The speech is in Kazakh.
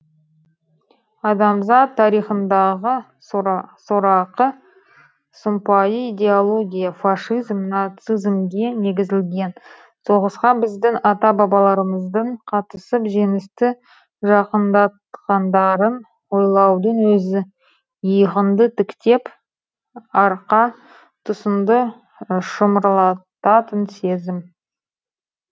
адамзат тарихындағы сорақы сұмпайы идеология фашизм нацизмге негізілген соғысқа біздің ата бабаларымыздың қатысып жеңісті жақындатқандарын ойлаудың өзі иығыңды тіктеп арқа тұсыңды шымырлататын сезім